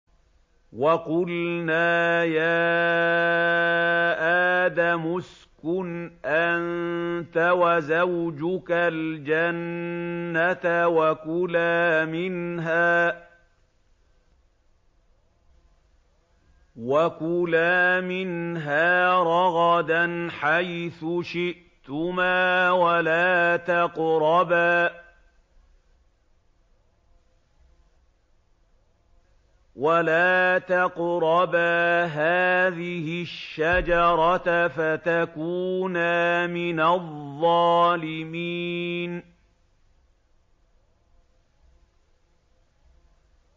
وَقُلْنَا يَا آدَمُ اسْكُنْ أَنتَ وَزَوْجُكَ الْجَنَّةَ وَكُلَا مِنْهَا رَغَدًا حَيْثُ شِئْتُمَا وَلَا تَقْرَبَا هَٰذِهِ الشَّجَرَةَ فَتَكُونَا مِنَ الظَّالِمِينَ